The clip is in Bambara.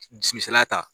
Misaliya ta